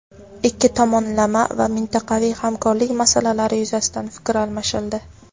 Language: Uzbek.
Ikki tomonlama va mintaqaviy hamkorlik masalalari yuzasidan fikr almashildi.